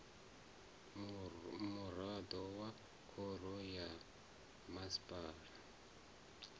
muraḓo wa khoro ya masipala